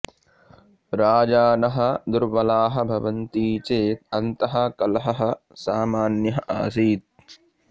राजानः दुर्बलाः भवन्ति चेद अन्तः कलहः सामान्यः आसीत्